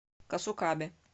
касукабе